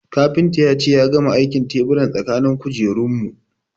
Kafintan ya ce ya gama aikin teburan tsakanin kujerun mu